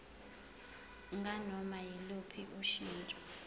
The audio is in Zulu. nganoma yiluphi ushintsho